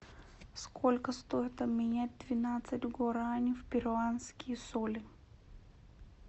сколько стоит обменять двенадцать гуарани в перуанские соли